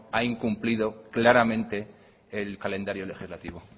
ha incumplido claramente el calendario legislativo